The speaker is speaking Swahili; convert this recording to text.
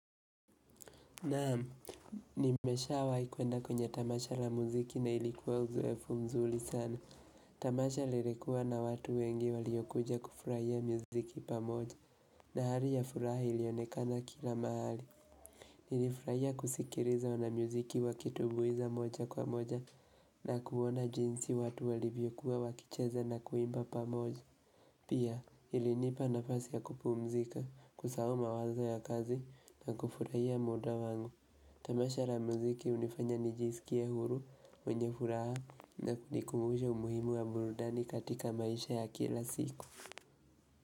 Naam, nimeshawai kuenda kwenye tamasha la muziki na ilikuwa uzoefu mzuri sana. Tamasha lilikuwa na watu wengi walio kuja kufurahia muziki pamoja. Dahari ya furaha ilionekana kila mahali. Nilifurahia kusikiliza wana muziki wakitumbuiza moja kwa moja na kuona jinsi watu walivyokuwa wakicheza na kuimba pamoja. Pia, ilinipa nafasi ya kupumzika, kusahau mawazo ya kazi na kufurahia muda wangu. Tamasha la muziki hunifanya nijisikie huru mwenye furaha na kunikumbusha umuhimu wa burudani katika maisha ya kila siku.